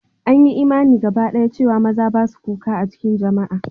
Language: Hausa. An yi imani gabadaya cewa maza ba su kuka a cikin jama'a.